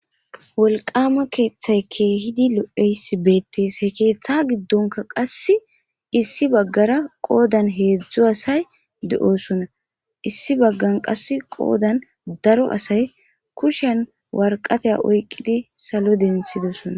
wolqama keeththay keehidi lo7eysi beettees he keeththa giddonka qasse issi baggara qoodan heedzdzo asay de7osona issi baggan qas qoodan daro asay kushen warqatey oyqqidi salo densidosonna